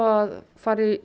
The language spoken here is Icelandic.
að fara í